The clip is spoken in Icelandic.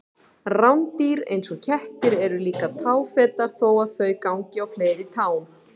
Rándýr eins og kettir eru líka táfetar þó að þau gangi á fleiri tám.